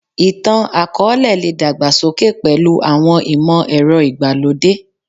Ìtàn-akọọlẹ le dàgbà sókè pẹ̀lú àwọn ìmọ̀ ẹrọ ìgbà lódé